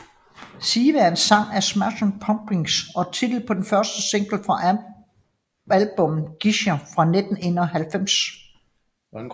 Siva er en sang af Smashing Pumpkins og titlen på den første single fra albummet Gish fra 1991